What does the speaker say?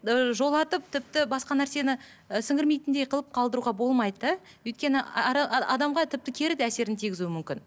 ыыы жолатып тіпті басқа нәрсені і сіңірмейтіндей қылып қалдыруға болмайды да өйткені адамға тіпті кері де әсерін тигізу мүмкін